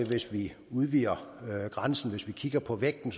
hvis vi udvider grænsen hvis vi kigger på vægten